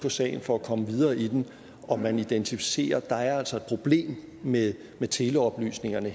på sagen for at komme videre i den og man identificerer at der altså problem med teleoplysningerne